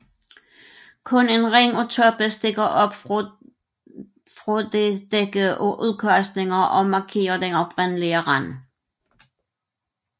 Kun en ring af toppe stikker op fra dette dække af udkastninger og markerer den oprindelige rand